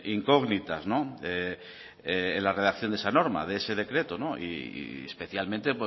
incógnitas en la redacción de esa norma de ese decreto y especialmente